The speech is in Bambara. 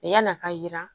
Yann'a ka jira